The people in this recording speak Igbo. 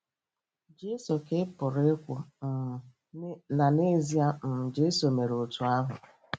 Jesu, ' ka ị pụrụ ikwu - um na, n'ezie, um Jesu mere otú ahụ.